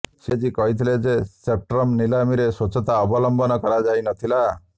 CAG କହିଥିଲେ ଯେ spectrum ନିଲାମିରେ ସ୍ୱଚ୍ଛତା ଅବଲମ୍ବନ କରାଯାଇନଥିଲା